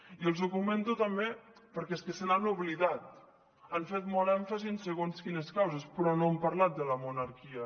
i els ho comento també perquè és que se n’han oblidat han fet molt èmfasi en segons quines causes però no han parlat de la monarquia